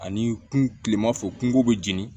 Ani kun kilema fɛ kungo be jeni